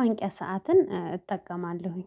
ማንቂያ ሰዓትን እጠቀማለሁኝ